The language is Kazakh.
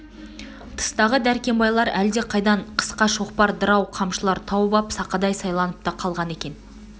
тыстағы дәркембайлар әлде қайдан қысқа шоқпар дырау қамшылар тауып ап сақадай сайланып та қалған екен